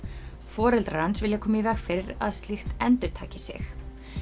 foreldrar hans vilja koma í veg fyrir að slíkt endurtaki sig